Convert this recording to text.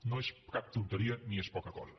no és cap tonteria ni és poca cosa